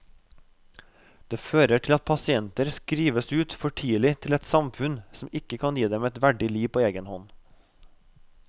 Det fører til at pasienter skrives ut for tidlig til et samfunn som ikke kan gi dem et verdig liv på egen hånd.